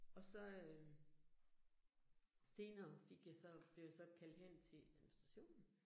Og så øh senere fik jeg så, blev jeg så kaldt hen til administrationen